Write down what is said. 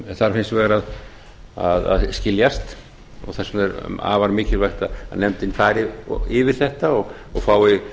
þarf hins vegar að skiljast þess vegna er afar mikilvægt að nefndin fari yfir þetta og fái